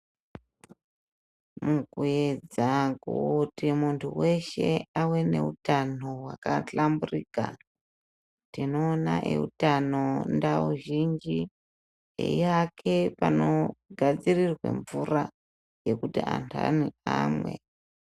Mukuedza kuti muntu weshe ave nehutano wakahlamburika tinoona vehutano ndau zhinji veiaka panogadzurirwa mvura yekuti andani amwe.